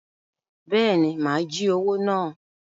Bẹẹni, má jí owo náà